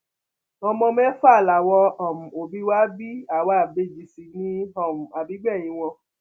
ọmọ mẹfà làwọn um òbí wa bí àwa ìbejì sí ní um àbígbẹyìn wọn